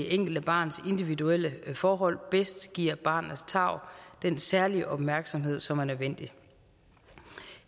enkelte barns individuelle forhold bedst giver barnets tarv den særlige opmærksomhed som er nødvendig